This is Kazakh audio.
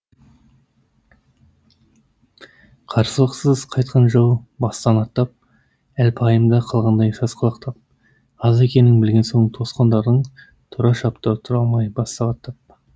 қарсылықсыз қайтқан жау бастан аттап әлпайымда қалғандай сасқалақтап аз екенін білген соң тосқандардың тұра шапты тұра алмай бас сағаттап